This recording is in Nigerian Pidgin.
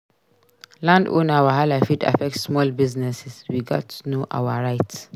Landowner wahala fit affect small businesses; we gats know our rights.